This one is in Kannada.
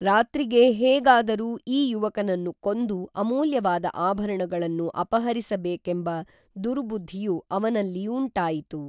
ರಾತ್ರಿಗೇ ಹೇಗಾದರೂ ಈ ಯುವಕನನ್ನು ಕೊಂದು ಅಮುಲ್ಯವಾದ ಆಭರಣಗಳನ್ನು ಅಪಹರಿಸ ಬೇಕೆಂಬ ದುರ್ಬುದ್ಧಿಯು ಅವನಲ್ಲಿ ಉಂಟಾಯಿತು